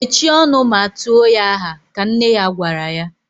Mechie ọnụ ma tuo ya aha! ka nne ya gwara ya